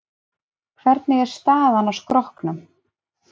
Hvernig er staðan á skrokknum?